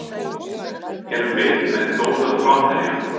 Erum við með góða framherja?